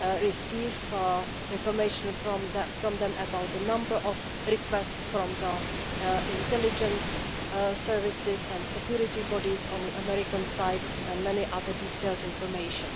we receive information from them about the number of requests from the intelligence services and security bodies on the American side, and much other detailed information.